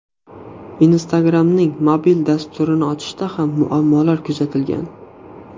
Instagram’ning mobil dasturini ochishda ham muammolar kuzatilgan.